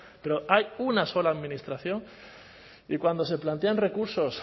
pero hay una sola administración y cuando se plantean recursos